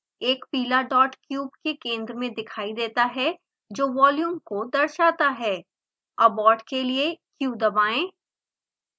एक पीला dot cube के केंद्र में दिखाई देता है जो वॉल्यूम को दर्शाता है abort के लिए q दबाएँ